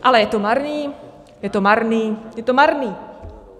Ale je to marný, je to marný, je to marný.